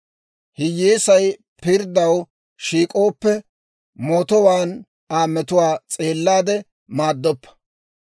Hiyyeesay pirddaw shiik'ooppe, mootuwaan Aa metuwaa s'eellaade maaddoppa.